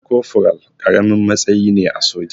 Kofural ƙaramin matsayi ne a soja.